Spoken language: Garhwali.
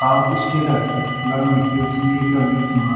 साउथ स्टेट क लगणी च क्यूंकि येका बीच मा --